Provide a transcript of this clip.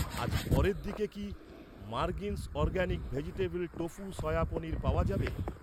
আজ পরের দিকে কি, মারগিন্স organic vegetable tofu soya paneer পাওয়া যাবে?